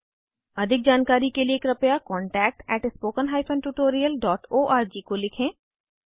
अधिक जानकारी के लिए कृपया contactspoken tutorialorg को लिखें